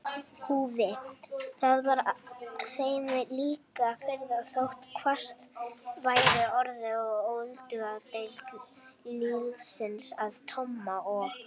Þá var þeim líka fýrað þótt hvasst væri orðið og öldungadeild liðsins að Tomma og